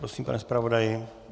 Prosím, pane zpravodaji.